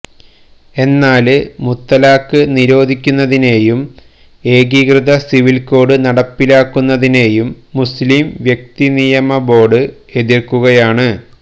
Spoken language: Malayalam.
എന്നാല് മുത്തലാഖ് നിരോധിക്കുന്നതിനെയും ഏകീകൃത സിവില് കോഡ് നടപ്പിലാക്കുന്നതിനെയും മുസ്ലീം വ്യക്തിനിയമ ബോര്ഡ് എതിര്ക്കുകയാണ്